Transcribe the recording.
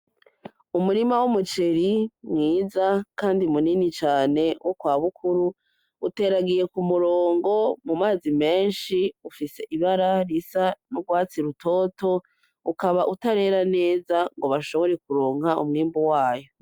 Umurima w'umuceri mwiza kandi munini cane wo kwa Bukuru uteragiye k'umurongo, mumazi menshi ufise ibara risa n'urwatsi rutoto ukaba utarera neza ngo bashobore kuronka umwimbu wayo .